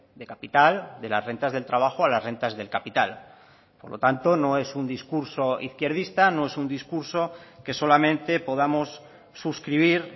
de capital de las rentas del trabajo a las rentas del capital por lo tanto no es un discurso izquierdista no es un discurso que solamente podamos suscribir